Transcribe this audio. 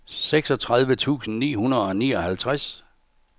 seksogtredive tusind ni hundrede og nioghalvtreds